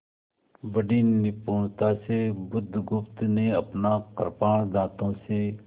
बड़ी निपुणता से बुधगुप्त ने अपना कृपाण दाँतों से